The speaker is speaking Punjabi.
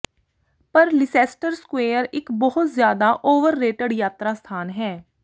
ਪਰ ਲੀਸੈਸਟਰ ਸਕੁਏਅਰ ਇੱਕ ਬਹੁਤ ਜ਼ਿਆਦਾ ਓਵਰਰੇਟਡ ਯਾਤਰਾ ਸਥਾਨ ਹੈ